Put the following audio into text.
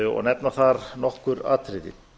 og nefna þar nokkur atriði